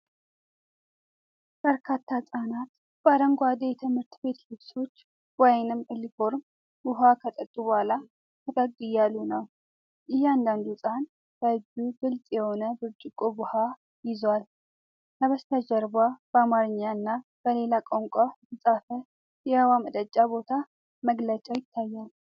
በርካታ ሕጻናት በአረንጓዴ የትምህርት ቤት ልብሶች (ዩኒፎርም) ዉሃ ከጠጡ በኋላ ፈገግ እያሉ ነው። እያንዳንዱ ሕጻን በእጁ ግልጽ የሆነ ብርጭቆ ውሃ ይዟል፤ ከበስተጀርባ በአማርኛ እና በሌላ ቋንቋ የተጻፈ የውሃ መጠጫ ቦታ መግለጫ ይታያል።